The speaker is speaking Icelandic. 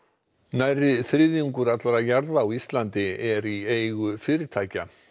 nærri þriðjungur allra jarða á Íslandi eru í eigu fyrirtækja